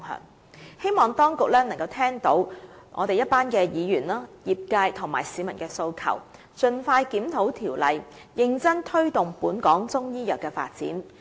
我希望當局聽到議員、業界和市民的訴求，盡快檢討《條例》，認真推動本港中醫藥的發展。